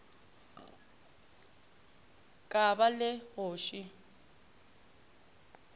ka ba le go še